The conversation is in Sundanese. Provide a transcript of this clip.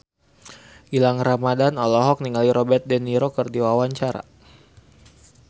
Gilang Ramadan olohok ningali Robert de Niro keur diwawancara